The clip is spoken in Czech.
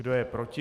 Kdo je proti?